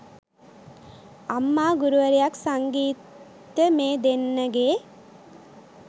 අම්මා ගුරුවරියක් සංගීත්ට මේ දෙන්නගේ